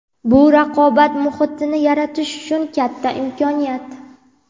Bu raqobat muhitini yaratish uchun katta imkoniyat.